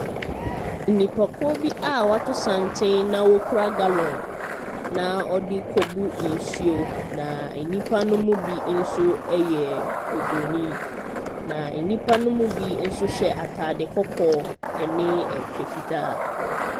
Nnipakuo bi a wɔato santen na wɔkura gallon na wɔde rekɔbu nsuo. Na nnipa ne mu bi nso yɛ obronin, na nnipa ne mu bi nso hyɛ ataade kɔkɔɔ ne kyɛ fitaa.